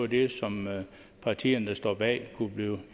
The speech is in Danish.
det som partierne der står bag kunne blive